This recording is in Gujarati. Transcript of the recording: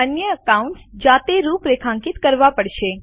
અન્ય એકાઉન્ટ્સ જાતે રૂપરેખાંકિત કરવા પડશે